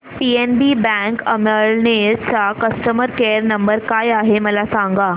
PNB bank Amalner चा customer care number काय आहे मला सांगा